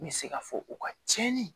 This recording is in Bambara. N bɛ se ka fɔ u ka tiɲɛni